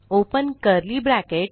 open curly bracket